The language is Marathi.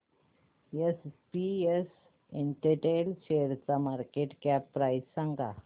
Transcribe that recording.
एसपीएस इंटेल शेअरची मार्केट कॅप प्राइस सांगा